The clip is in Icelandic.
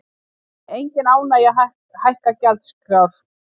Engin ánægja að hækka gjaldskrár